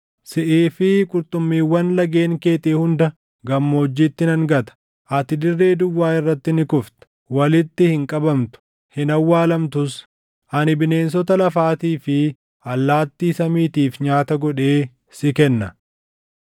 Siʼii fi qurxummiiwwan lageen keetii hunda gammoojjiitti nan gata. Ati dirree duwwaa irratti ni kufta; walitti hin qabamtu; hin awwaalamtus. Ani bineensota lafaatii fi allaattii samiitiif nyaata godheen si kenna.